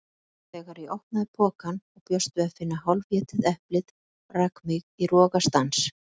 Þegar ég opnaði pokann og bjóst við að finna hálfétið eplið rak mig í rogastans.